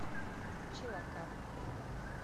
чилакап